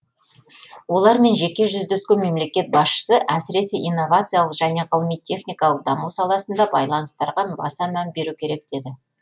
олармен жеке жүздескен мемлекет басшысы әсіресе инновациялық және ғылыми техникалық даму саласында байланыстарға баса мән беру керек деді